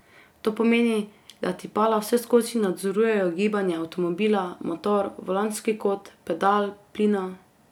To pomeni, da tipala vseskozi nadzorujejo gibanje avtomobila, motor, volanski kot, pedal plina ...